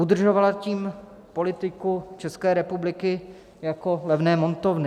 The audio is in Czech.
Udržovala tím politiku České republiky jako levné montovny.